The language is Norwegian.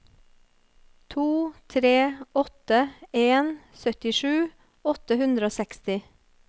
to tre åtte en syttisju åtte hundre og seksti